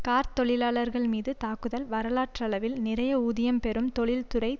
கார்த் தொழிலாளர்கள்மீது தாக்குதல் வரலாற்றளவில் நிறைய ஊதியம் பெறும் தொழில்துறை